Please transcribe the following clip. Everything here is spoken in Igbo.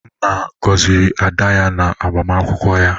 nna gọziri ada ya na agbamakwụkwọ ya?